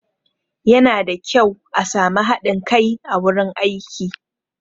Yana da kyau a sami haɗin kai a wurin aiki